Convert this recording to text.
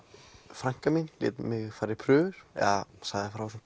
frænka mín lét mig fara í prufur eða sagði frá þessum